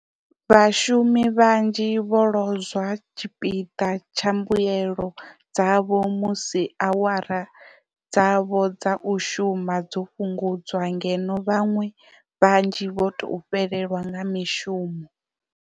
Vhashumi vhanzhi vho lozwa tshipiḓa tsha mbuelo dzavho musi awara dzavho dza u shuma dzo fhungudzwa ngeno vhaṅwe vhanzhi vho tou fhelelwa nga mishumo.